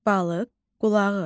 Balıq qulağı.